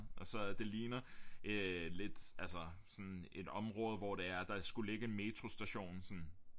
Og så det ligner øh lidt altså sådan et område hvor det er der skulle ligge en metrostation sådan